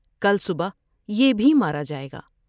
کل صبح یہ بھی مارا جاۓ گا ۔